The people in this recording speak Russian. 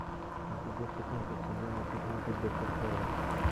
эпизод пятнадцать сезона пятнадцать доктор хаус